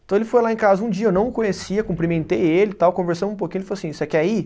Então ele foi lá em casa um dia, eu não o conhecia, cumprimentei ele e tal, conversamos um pouquinho, ele falou assim, você quer ir?